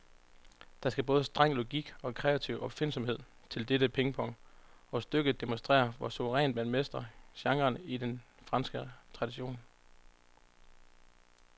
Der skal både streng logik og kreativ opfindsomhed til dette pingpong, og stykket demonstrerer, hvor suverænt man mestrer genren i den franske tradition.